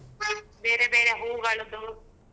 ಬೇರೆ ಬೇರೆ ಹೂಗಳದ್ದು.